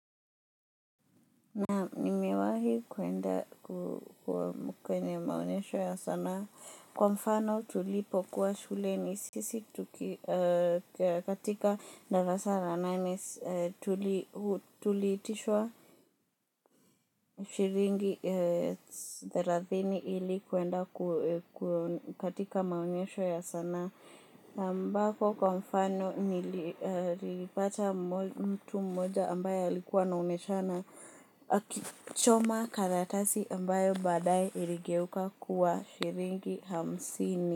Naam nimewahi kuenda kwenye maonyesho ya sanaa. Kwa mfano tulipo kuwa shuleni sisi katika darasa la nane tuli itishwa shilingi thelatini ili kuenda katika maonyesho ya sanaa. Na ambako kwa mfano nilipata mtu mmoja ambaye alikuwa anaoneshana akichoma karatasi ambayo badae iligeuka kuwa shilingi hamsini.